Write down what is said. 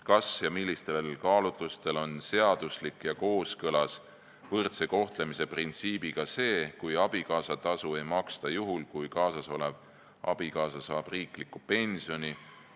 Kas ja millistel kaalutlustel on seaduslik ja võrdse kohtlemise printsiibiga kooskõlas see, et abikaasatasu ei maksta juhul, kui kaasasolev abikaasa saab riiklikku pensioni?